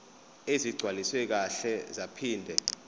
ezigcwaliswe kahle zaphinde